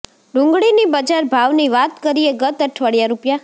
ડુંગળીની બજાર ભાવની વાત કરીએ ગત અઠવાડીઆ રૂ